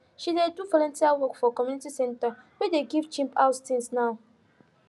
she dey do volunteer work for community center wey dey give cheap house things now